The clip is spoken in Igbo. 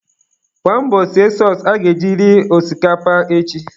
Gbaa mbọ sie sọọsụ aga eji ri osikapa echi.